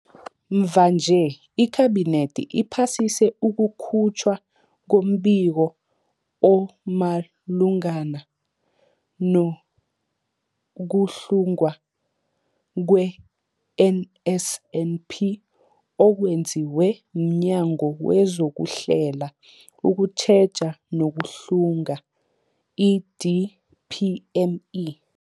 Mvanje, iKhabinethi iphasise ukukhutjhwa kombiko omalungana nokuhlungwa kwe-NSNP okwenziwe mNyango wezokuHlela, ukuTjheja nokuHlunga, i-DPME.